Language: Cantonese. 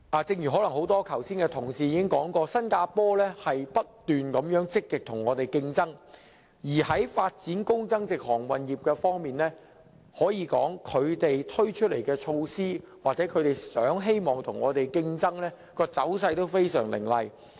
正如剛才多位同事所說，新加坡正積極與我們競爭，而在發展高增值航運業方面，他們推出的措施或希望與我們競爭的走勢都非常凌厲。